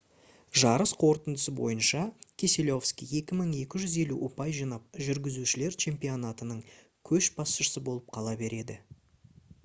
жарыс қорытындысы бойынша кеселовский 2250 ұпай жинап жүргізушілер чемпионатының көшбасшысы болып қала береді